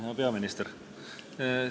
Hea peaminister!